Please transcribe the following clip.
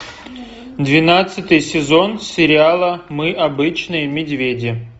двенадцатый сезон сериала мы обычные медведи